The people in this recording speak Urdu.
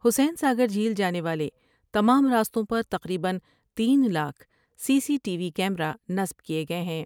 حسین ساگر جھیل جانے والے تمام راستوں پر تقریبا تین lakh C C T V camera نصب کئے گئے ہیں ۔